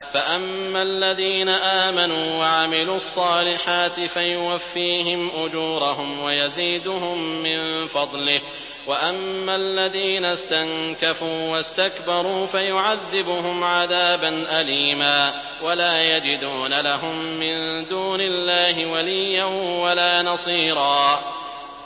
فَأَمَّا الَّذِينَ آمَنُوا وَعَمِلُوا الصَّالِحَاتِ فَيُوَفِّيهِمْ أُجُورَهُمْ وَيَزِيدُهُم مِّن فَضْلِهِ ۖ وَأَمَّا الَّذِينَ اسْتَنكَفُوا وَاسْتَكْبَرُوا فَيُعَذِّبُهُمْ عَذَابًا أَلِيمًا وَلَا يَجِدُونَ لَهُم مِّن دُونِ اللَّهِ وَلِيًّا وَلَا نَصِيرًا